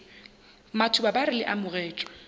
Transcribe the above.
matuba ba re le amogetšwe